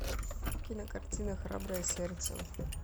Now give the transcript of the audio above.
кинокартина храброе сердце